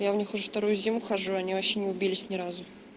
я в них уже вторую зиму хожу они вообще не убились ни разу